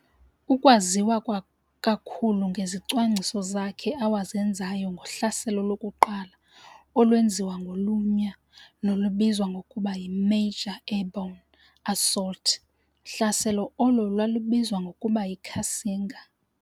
Ukwaziwa kakhulu ngezicwangciso zakhe awazenzayo ngohlaselo lokuqala olwenziwa ngolunya nolubizwa ngokuba yi"major airborne assault hlaselo olo lwalubizwa ngokuba yi"Cassinga.